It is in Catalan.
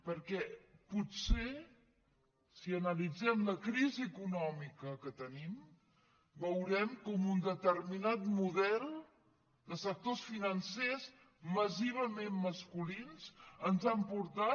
perquè potser si analitzem la crisi econòmica que tenim veurem com un determinat model de sectors financers massivament masculins ens ha portat